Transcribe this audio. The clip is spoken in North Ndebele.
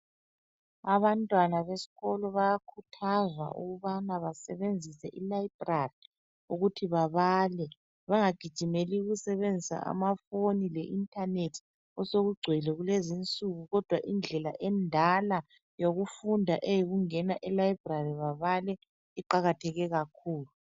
Abantwana besikolo bayakhuthazwa ukubana basebenzise ilayibhrari ukuthi babale bengagijimele ukusebenzisa amafoni le inthanethi osokugcwele kulezi insuku kodwa indlela endala yokufunda eyayikungena elayibhrari babale iqakatheke kakhulu.